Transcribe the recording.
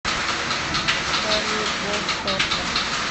салют вов сорта